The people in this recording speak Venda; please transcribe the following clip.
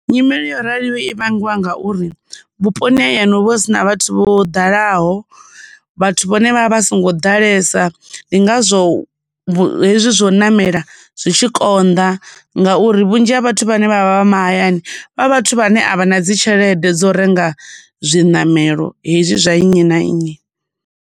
Nyimele yo raliho i vhangiwa ngauri vhuponi ha hayani huvha hu sina vhathu vho dalaho, vhathu vhone vha vha vha songo ḓalesa, ndi ngazwo hezwi zwa u namela zwi tshi konḓa, ngauri vhunzhi ha vhathu vhane vhavha vha mahayani vha vhathu vhane a vha na dzi tshelede dzo renga zwiṋamelo hezwi zwa nnyi na nnyi.